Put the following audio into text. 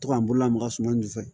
To ka n bolo lamaga suman nin fɛ